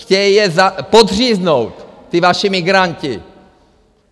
Chtějí je podříznout, ti vaši migranti!